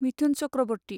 Mithun Chakraborty